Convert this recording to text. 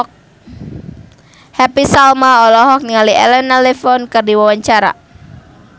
Happy Salma olohok ningali Elena Levon keur diwawancara